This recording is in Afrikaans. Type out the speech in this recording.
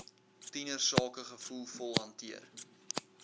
tienersake gevoelvol hanteer